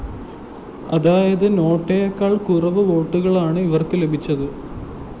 അതായത് നോട്ടയെക്കാള്‍ കുറവ് വോട്ടുകളാണ് ഇവര്‍ക്ക് ലഭിച്ചത്